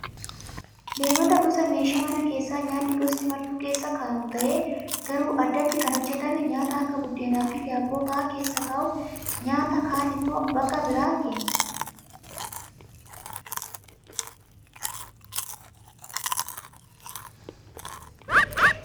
Leemataan gosa meeshaa mana keessaa kan nyaanni gosti martuu keessa kaa'amu ta'ee garuu addatti kan hojjatame nyaata akka buddeenaa fi daabboo fa'aa keessa kaa'uufi. Nyaata kaan immoo bakka biraa keenya.